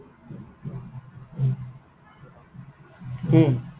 হম